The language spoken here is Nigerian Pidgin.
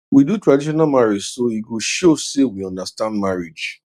we do traditional marriage so e go show say we understand marriage